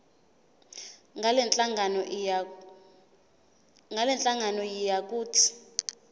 ngalenhlangano yiya kut